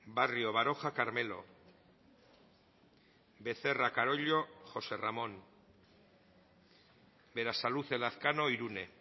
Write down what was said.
barrio baroja carmelo becerra carollo josé ramón berasaluze lazkano irune